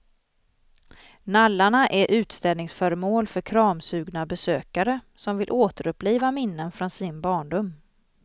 Nallarna är utställningsföremål för kramsugna besökare som vill återuppliva minnen från sin barndom.